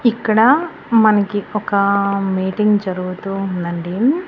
ఇక్కడా మనకి ఒకా మీటింగ్ జరుగుతూ ఉందండీ